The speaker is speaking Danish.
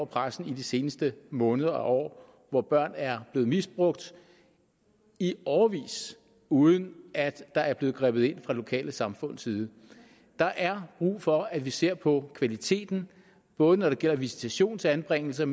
pressen i de seneste måneder og år hvor børn er blevet misbrugt i årevis uden at der er blevet grebet ind fra de lokale samfunds side der er brug for at vi ser på kvaliteten både når det gælder visitation til anbringelser